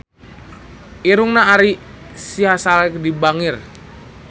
Irungna Ari Sihasale bangir